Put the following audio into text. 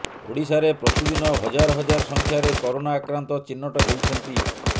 ଓଡ଼ିଶାରେ ପ୍ରତିଦିନ ହଜାର ହଜାର ସଂଖ୍ୟାରେ କୋରୋନା ଆକ୍ରାନ୍ତ ଚିହ୍ନଟ ହେଉଛନ୍ତି